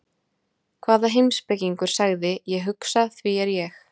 Hvaða heimspekingur sagði, Ég hugsa, því er ég?